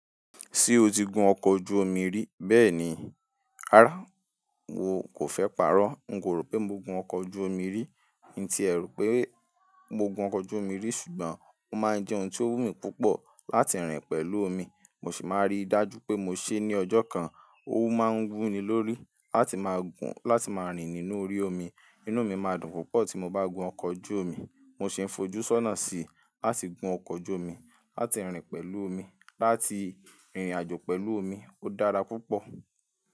Ṣé o ti gun ọkọ̀ ojú omi rí? Bẹ́ẹ̀ni, á, n kò fẹ́ pa'rọ́. N ko ro pé mo gun ọkọ̀ ojú omi rí, ì tí ẹ rú pé mo gun ọkọ̀ ojú omi rí ṣùgbọ́n ó máa ń jẹ́ ohun tó wú mi púpọ̀ láti rìn pẹ̀lú omi. Mo sì máa rí i dájú pé mo ṣe é ní ọjọ́ kan. Òwú máa ń wú ni lórí láti máa gun láti máa rìn nínú orí omi. Inú mi máa dùn púpọ̀ tí mo bá gun ọkọ̀ ojú omi. Mo sì ń fojú sọ́nà síi láti gun ọkọ̀ ojú omi, láti rìn pẹ̀lú omi, láti rìnrìn àjò pẹ̀lú omi. Ó dára púpọ̀